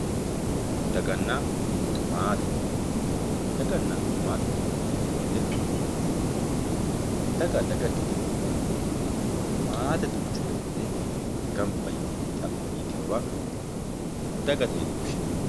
daganna maate daganna maatete yineemmo woyiite daga daga ikkitawoohu maate duuchu raginni ganba yite xaphi yitewoowa dagate yine woshshinanni